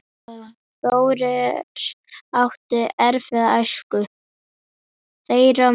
Þórir átti erfiða æsku.